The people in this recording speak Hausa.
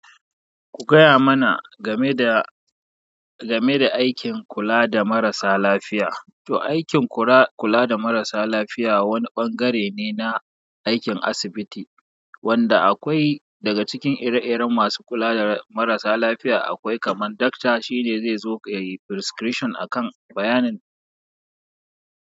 Ku gaya mana game da, game da aikin kula da marasa lafiya. To aikin kula da marasa lafiya wani ɓangare ne na aikin asibiti wanda akwai daga cikin ire-iren masu kula da marasa lafiya. Akwai kaman doctor shi ne zai zo ya yi prescription a kan bayanin.